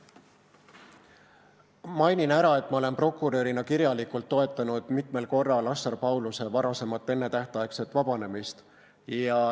Mainin ära, et ma olen prokurörina kirjalikult toetanud mitmel korral Assar Pauluse varasemat ennetähtaegset vabanemist.